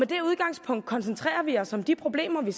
det udgangspunkt koncentrerer vi os om de problemer vi